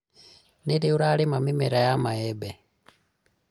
Nĩ rĩ ũrarima mĩmera ya mahembe?